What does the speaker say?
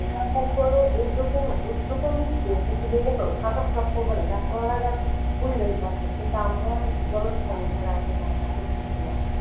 হ্যাঁ সরকার উদ্দোগ উদ্দোগ টা ও নিচ্ছে কিন্তু নিলে কি হবে সরকার তো সবসময় বলে কিন্তু আমরা জনসাধারণ যারা আছে তারা এটা করতেছি না।